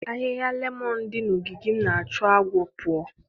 Ahịhịa lemon dị na ogige m na-achụ agwọ pụọ.